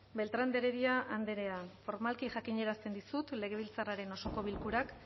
beltrán de heredia andrea formalki jakinarazten dizut legebiltzarraren osoko bilkurak